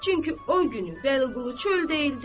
Çünki o günü Vəliqulu çöldə idi.